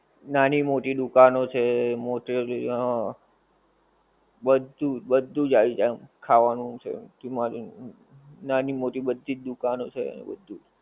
નાની મોટી દુકાનો છે મોટે છે બધું બધું આવી જાએ ખાવાનું છે કી માની કી નાની મોટી બધી દુકાનો છે એવું બધુજ